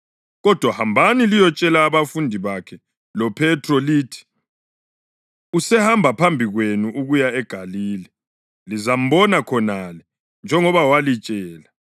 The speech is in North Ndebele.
Kodwa hambani liyotshela abafundi bakhe loPhethro lithi, ‘Usehamba phambi kwenu ukuya eGalile. Lizambona khonale, njengoba walitshela.’ ”